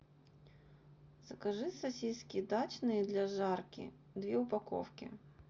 закажи сосиски дачные для жарки две упаковки